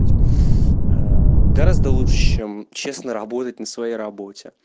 блять гораздо лучше честно работать на своей работе